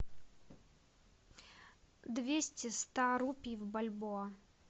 двести ста рупий в бальбоа